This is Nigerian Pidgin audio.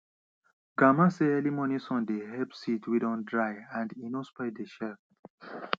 grandma say early morning sun dey help seeds wey don dry and e no spoil dey shell